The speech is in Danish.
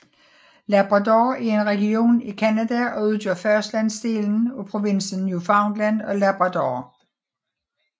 Labrador er en region i Canada og udgør fastlandsdelen af provinsen Newfoundland og Labrador